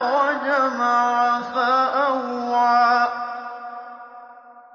وَجَمَعَ فَأَوْعَىٰ